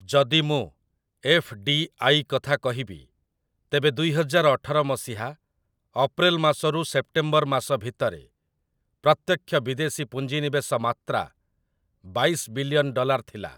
ଯଦି ମୁଁ 'F. D. I.' କଥା କହିବି, ତେବେ ଦୁଇହଜାର ଅଠର ମସିହା ଅପ୍ରେଲ ମାସରୁ ସେପ୍ଟେମ୍ବର ମାସ ଭିତରେ ପ୍ରତ୍ୟକ୍ଷ ବିଦେଶୀ ପୁଞ୍ଜିନିବେଶ ମାତ୍ରା ବାଇଶ ବିଲିଅନ୍ ଡ଼ଲାର୍ ଥିଲା ।